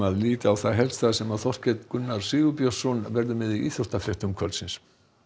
líta á það helsta sem Þorkell Gunnar Sigurbjörnsson verður með í íþróttafréttum kvöldsins